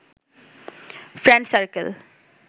friend circle